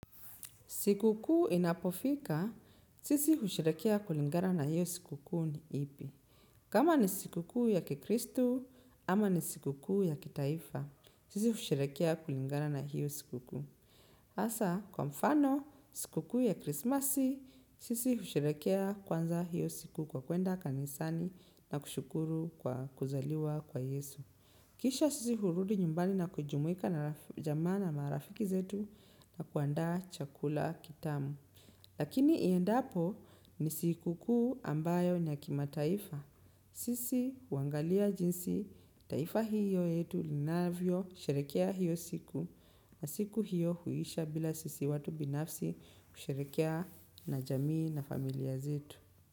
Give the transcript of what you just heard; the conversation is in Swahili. Siku kuu inapofika, sisi husherehekea kulingaa na hiyo siku kuu ni ipi. Kama ni siku kuu ya kikristu, ama ni siku kuu ya kitaifa, sisi husherehekea kulingana na hiyo siku kuu. Hasa, kwa mfano, siku kuu ya krismasi, sisi husherehekea kwanza hiyo siku kwa kuenda kanisani na kushukuru kwa kuzaliwa kwa yesu. Kisha sisi hurudi nyumbani na kujumuika na jamaa na marafiki zetu na kuandaa chakula kitamu. Lakini iendapo ni siku kuu ambayo ni ya kimataifa. Sisi, huangalia jinsi, taifa hiyo yetu linavyo, sherehekea hiyo siku. Na siku hiyo huisha bila sisi watu binafsi kusherehrkea na jamii na familia zetu.